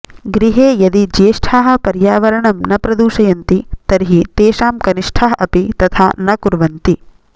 गृहे यदि ज्येष्ठाः पर्यावरणं न प्रदूषयन्ति तर्हि तेषां कनिष्ठाः अपि तथा न कुर्वन्ति